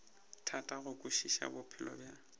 thata go kwešiša bophelo bja